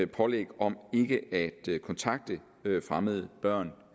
pålæg om ikke at kontakte fremmede børn